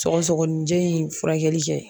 Sɔgɔsɔgɔnijɛ in furakɛli kɛ